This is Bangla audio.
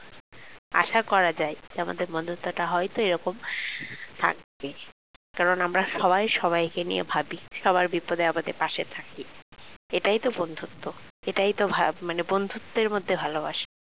আশা করা যায় যে আমাদের বন্ধুত্বটা হয়তো এরকম থাকবে কারণ আমরা সবাই সবাইকে নিয়ে ভাবি সবার বিপদে আপদে পাশে থাকি এটাই তো বন্ধুত্ব এটাই তো ভা মানে বন্ধুত্বের মধ্যে ভালোবাসা